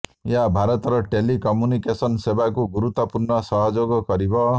ଏହା ଭାରତର telecommunication ସେବାକୁ ଗୁରୁତ୍ୱପୂର୍ଣ୍ଣ ସହଯୋଗ କରିବ